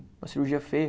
Uma cirurgia feia.